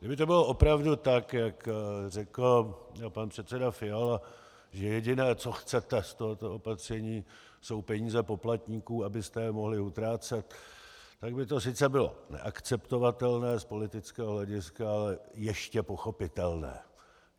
Kdyby to bylo opravdu tak, jak řekl pan předseda Fiala, že jediné, co chcete z tohoto opatření, jsou peníze poplatníků, abyste je mohli utrácet, tak by to sice bylo neakceptovatelné z politického hlediska, ale ještě pochopitelné.